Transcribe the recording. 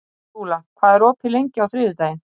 Skúla, hvað er opið lengi á þriðjudaginn?